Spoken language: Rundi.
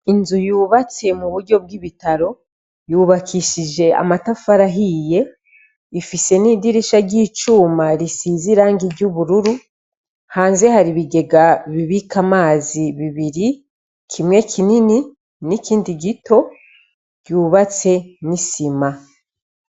Inzu yubatse mu buryo bw'ibitaro yubakishije amatafari ahiye ifise n'idirisha ry'icuma risize irangi ry'ubururu hanze hari ibigega bibika amazi bibiri kimwe kinini n'ikindi gito ryubatse nisima.